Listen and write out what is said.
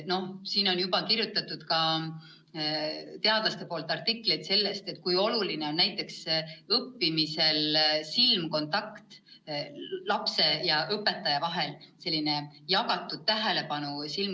Teadlased on kirjutanud artikleid sellest, kui oluline on õppimisel silmkontakt lapse ja õpetaja vahel, selline vastastikune tähelepanu.